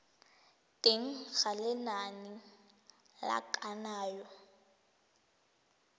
teng ga lenane la kananyo